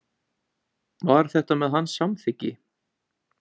Var þetta með hans samþykki?